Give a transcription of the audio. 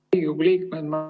Head Riigikogu liikmed!